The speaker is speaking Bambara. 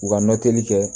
U ka nɔtɛli kɛ